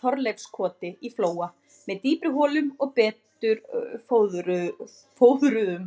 Þorleifskoti í Flóa með dýpri holum og betur fóðruðum.